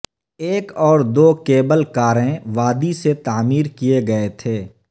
ایک اور دو کیبل کاریں وادی سے تعمیر کیے گئے تھے